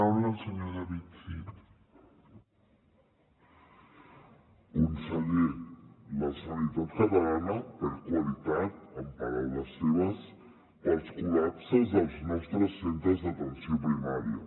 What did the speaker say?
conseller la sanitat catalana perd qualitat amb paraules seves pels col·lapses als nostres centres d’atenció primària